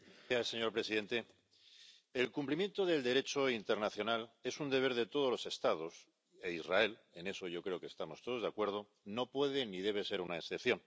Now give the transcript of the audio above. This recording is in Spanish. Señor presidente, el cumplimiento del Derecho internacional es un deber de todos los Estados, e Israel —en eso yo creo que estamos todos de acuerdo— no puede ni debe ser una excepción.